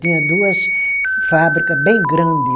Tinha duas fábrica bem grande.